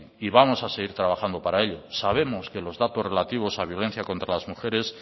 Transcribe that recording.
y vamos a seguir trabajando para ello sabemos que los datos relativos a la violencia contra las mujeres